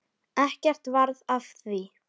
Ekkert varð af því.